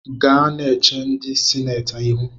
Gaa na-eche ndị sinetị ihu